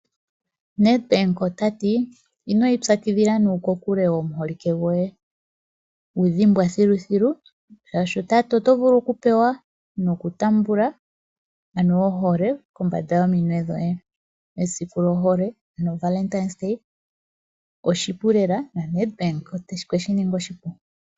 Nedbank ota ti ino ipyakidhila nuukule womuholike goye, wu dhimbwa thiluthilu, oshoka oto vulu okupewa nokutaamba ohole kombanda yominwe dhoye. Esiku lyohole, oshipu lela naNEdbank okwe shi ninga oshipu.